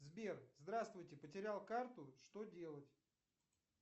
сбер здравствуйте потерял карту что делать